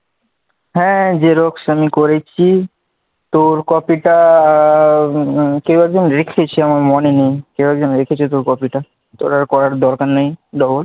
হ্যাঁ xerox আমি করেছি, তোর copy টা কেউ একজন রেখেছে আমার মনে নেই কেউ একজন রেখেছে তোর copy টা তোর আর করার দরকার নেই, double